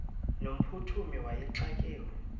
no mphuthumi wayexakiwe